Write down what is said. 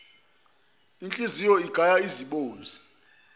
inhliziyo igaya izibozi